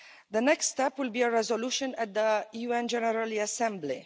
The next step will be a resolution at the UN General Assembly.